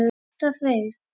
Þetta hreif.